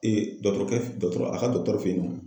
dɔkɔtɔrɔkɛ dɔkɔtɔrɔ a ka dɔgɔtɔrɔ fe yen nɔ.